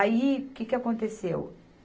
Aí, o que que aconteceu?